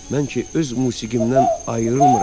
Mən ki, öz musiqimdən ayrılmıram.